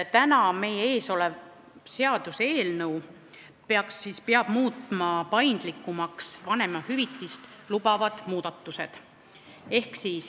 Täna meie ees olev seaduseelnõu teeb muudatused, mis peavad muutma paindlikumaks vanemahüvitise kasutamise.